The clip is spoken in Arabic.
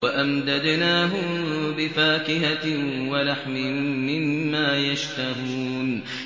وَأَمْدَدْنَاهُم بِفَاكِهَةٍ وَلَحْمٍ مِّمَّا يَشْتَهُونَ